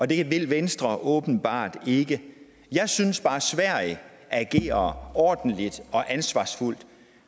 det vil venstre åbenbart ikke jeg synes bare at sverige agerer ordentligt og ansvarsfuldt